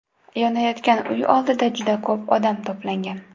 Yonayotgan uy oldida juda ko‘p odam to‘plangan.